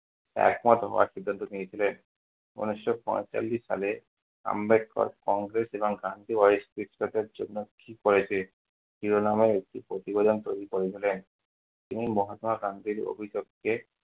একমত হওয়ার সিদ্ধান্ত নিয়ে ছিলেন। ঊনিশশো পঁয়তাল্লিশ সালে আম্বেদকর কংগ্রেস এবং গান্ধী জন্য কি করেছে? শিরোনামের একটি প্রতিবেদন তৈরি করে ছিলেন। তিনি মহাত্মা গান্ধীর অভিলক্ষে